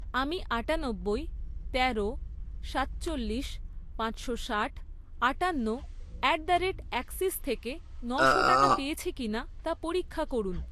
আমি আটানব্বই, তেরো, সাতচল্লিশ, পাঁচশো ষাট, আটান্ন অ্যাট দ্য রেট অ্যাক্সিস থেকে নশো টাকা পেয়েছি কিনা তা পরীক্ষা করুন।